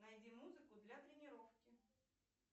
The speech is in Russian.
найди музыку для тренировки